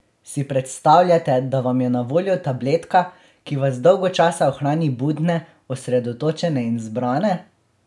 Si predstavljate, da vam je na voljo tabletka, ki vas dolgo časa ohrani budne, osredotočene in zbrane?